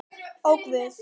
Ó, Guð!